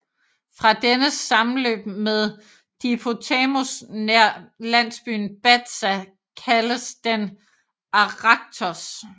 Fra dennes sammenløb med Dipotamos nær landsbyen Batza kaldes den Arachthos